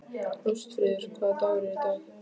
Ástfríður, hvaða dagur er í dag?